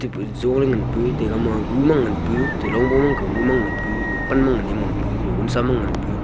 jon ley ngan pu taga ma gu ma ngan pu talong bo ma pan gu ma ngan pu vonsa ma ngan pu.